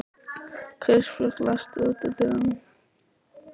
Kristbjörg, læstu útidyrunum.